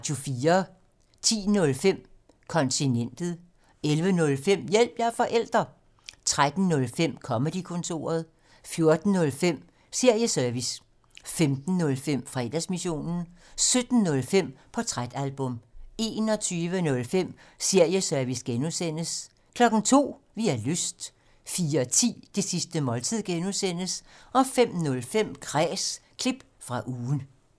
10:05: Kontinentet 11:05: Hjælp – jeg er forælder! 13:05: Comedy-kontoret 14:05: Serieservice 15:05: Fredagsmissionen 17:05: Portrætalbum 21:05: Serieservice (G) 02:00: Vi har lyst 04:10: Det sidste måltid (G) 05:05: Kræs – klip fra ugen